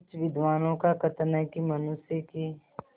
कुछ विद्वानों का कथन है कि मनुष्य की